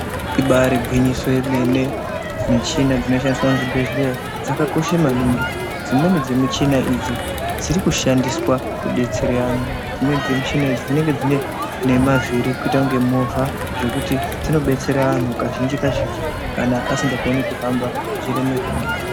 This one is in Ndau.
Ibaarigwinyiso yemene, michina dzinoshandiswa muzvibhedhlera dzakakosha maningi, dzimweni dzemichina idzi dzirikushandiswa kudetsera anhu, dzimweni dzemichina idzi dzinenge dzine nemavhiri kuita kunge movha zvekuti zvinodetsera anhu kazhinji kazhinji kana asikakoni kuhamba.